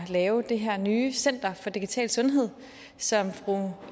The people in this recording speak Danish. lave det her nye center for digital sundhed som fru